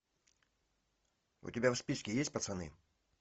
у тебя в списке есть пацаны